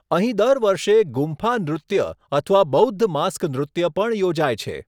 અહીં દર વર્ષે ગુમ્ફા નૃત્ય અથવા બૌદ્ધ માસ્ક નૃત્ય પણ યોજાય છે.